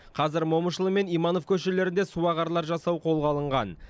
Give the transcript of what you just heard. қазір момышұлы мен иманов көшелерінде суағарлар жасау қолға алынған